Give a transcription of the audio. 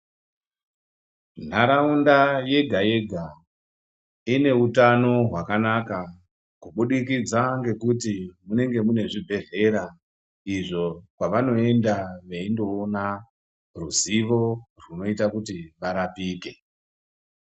Ntaraunda yega-yega ine utano hwakanaka kubudikidza ngekuti munenge mune zvibhedhlera izvo kwavanoenda veindoona ruzivo rwunoita kuti varapike.